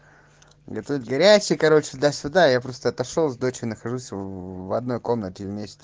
это горячий короче да сюда я просто отошёл с дочей нахожусь в одной комнате вместе